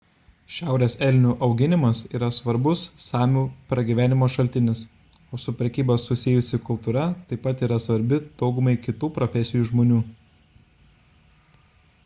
šiaurės elnių auginimas yra svarbus samių pragyvenimo šaltinis o su prekyba susijusi kultūra taip pat yra svarbi daugumai kitų profesijų žmonių